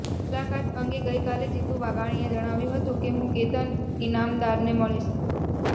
મુલાકાત અંગે ગઇકાલે જીતુ વાઘાણીએ જણાવ્યું હતું કે હું કેતન ઇનામદારને મળીશ